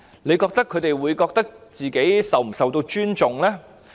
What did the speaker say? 大家認為他們會否感覺自己受尊重呢？